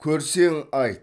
көрсең айт